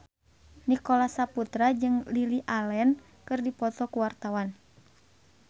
Nicholas Saputra jeung Lily Allen keur dipoto ku wartawan